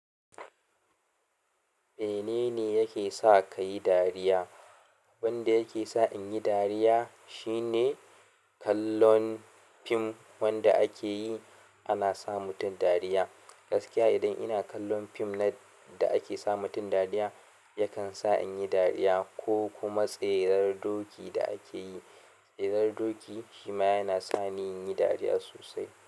Menene yake sa ka yi dariya? Wanda yake sa in yi dariya shine kallon fim wanda ake yi ana sa mutum dariya. Gaskiya idan ina kallon fim na da ake sa mutum dariya yakan sa in yi dariya ko kuma tserar doki da ake yi. Tserar doki shima yana sa ni in yi dariya sosai.